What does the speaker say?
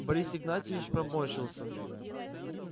борис игнатьевич поморщился